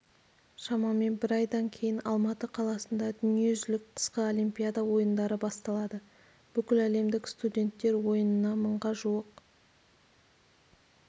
шамамен бір айдан кейін алматы қаласында дүниежүзілік қысқы универсиада ойындары басталады бүкіләлемдік студенттер ойынына мыңға жуық